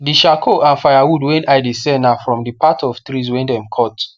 de charcoal and firewood wey i de sell na from the part of trees wey dem cut